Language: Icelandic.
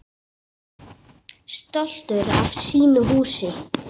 Stoltur af sínu húsi.